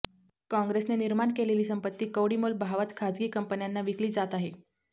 कॉंग्रेसने निर्माण केलेली संपत्ती कवडीमोल भावात खासगी कंपन्यांना विकली जात आहे